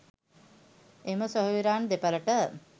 එම සොහොයුරන් දෙපලට